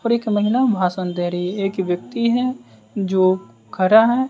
और एक महिला भाषण दे रही है एक व्यक्ति है जो खरा हैं।